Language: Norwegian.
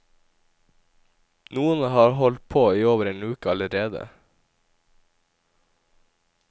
Noen har holdt på i over en uke allerede.